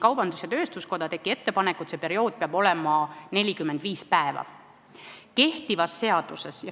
Kaubandus-tööstuskoda tegi ettepaneku, et see aeg peaks olema 45 päeva.